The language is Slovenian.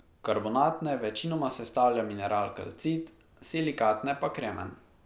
Karbonatne večinoma sestavlja mineral kalcit, silikatne pa kremen.